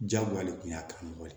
Jagoya de kun y'a karamɔgɔ ye